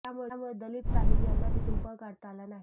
त्यामुळे दलीप ताहील यांना तिथून पळ काढता आला नाही